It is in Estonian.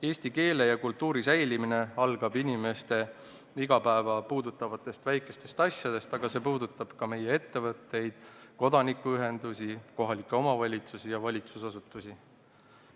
Eesti keele ja kultuuri säilimine algab inimeste igapäeva puudutavatest väikestest asjadest, aga see puudutab ka meie ettevõtteid, kodanikuühendusi, kohalikke omavalitsusi ja valitsusasutusi.